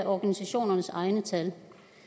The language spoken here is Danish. organisationernes egne tal